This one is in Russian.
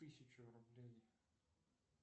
тысячу рублей